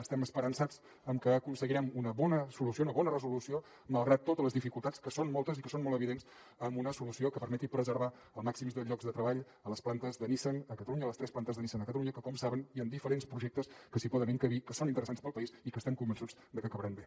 estem esperançats en que aconseguirem una bona solució una bona resolució malgrat totes les dificultats que són moltes i que són molt evidents una solució que permeti preservar el màxim de llocs de treball a les plantes de nissan a catalunya a les tres plantes de nissan a catalunya que com saben hi han diferents projectes que s’hi poden encabir que són interessants per al país i que estem convençuts de que acabaran bé